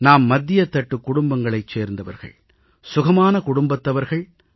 நாம் மத்தியத்தட்டு குடும்பங்களைச் சேர்ந்தவர்கள் சுகமான குடும்பத்தவர்கள்